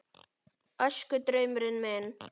Æskudraumurinn minn?